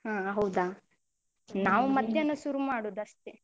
ಹಾ ಹೌದಾ? ನಾವ್ ಮಧ್ಯಾಹ್ನ ಶುರು ಮಾಡುದು ಅಷ್ಟೇ.